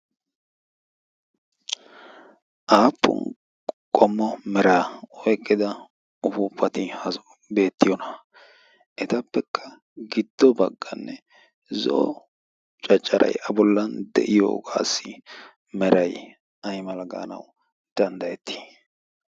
aappun qomma meraa oiqqida uhuupati hazu beettiyoona? haa etappekka giddo bagganne zo'o caccaray a bollan de'iyoogaassi meray y malggaanawu danddayettii?